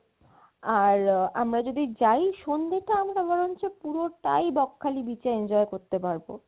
আর আমরা যদি যাই সন্ধ্যে টা আমরা বরংচ পুরোটাই বকখালি beach এ enjoy করতে পারবো